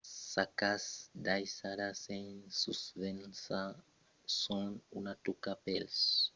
las sacas daissadas sens susvelhança son una tòca pels raubaires e pòdon tanben atirar l’atencion de las autoritats socitosas de las menaças de bombas